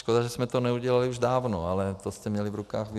Škoda, že jsme to neudělali už dávno, ale to jste měli v rukou vy.